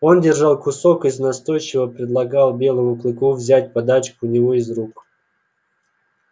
он держал кусок из настойчиво предлагал белому клыку взять подачку у него из рук